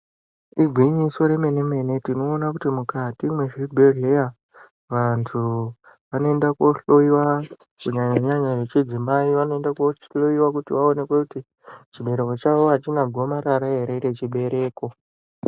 Igwinyiso remene-mene tinoona kuti mukati mezvibhedhleya vantu vanoenda kohloiwa kunyanya-nyanya vechidzimai vanoenda kuhloiwa kuti vaonekwe kuti chibereko chavo achina gwamarara ere rechibereko.